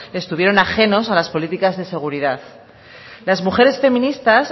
estuvieron ajenos a las políticas de seguridad las mujeres feministas